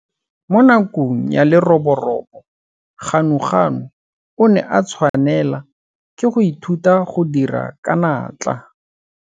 Mo nakong ya leroborobo Ganuganu o ne a tshwanela ke go ithuta go dira ka natla.